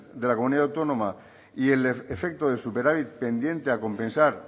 de la comunidad autónoma y el efecto de superávit pendiente a compensar